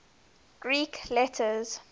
greek letters